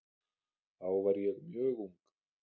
Þá var ég mjög ung.